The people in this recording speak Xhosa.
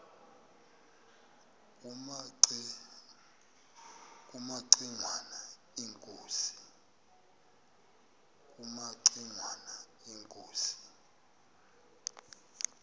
kumaci ngwana inkosi